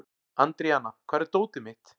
Andríana, hvar er dótið mitt?